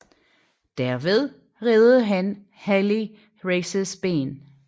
Derved reddede han Harley Races ben